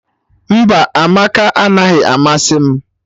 Mba, Amaka anaghị amasị m